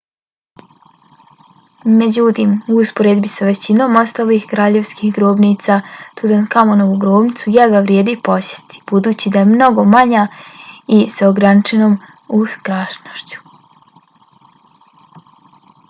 međutim u usporedbi s većinom ostalih kraljevskih grobnica tutankamonovu grobnicu jedva vrijedi posjetiti budući da je mnogo manja i s ograničenom ukrašenošću